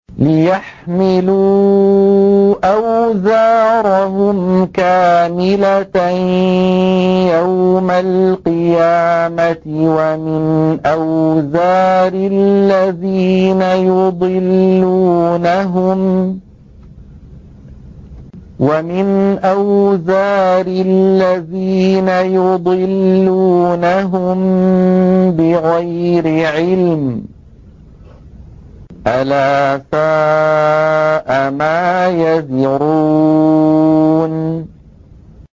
لِيَحْمِلُوا أَوْزَارَهُمْ كَامِلَةً يَوْمَ الْقِيَامَةِ ۙ وَمِنْ أَوْزَارِ الَّذِينَ يُضِلُّونَهُم بِغَيْرِ عِلْمٍ ۗ أَلَا سَاءَ مَا يَزِرُونَ